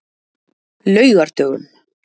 laugardögum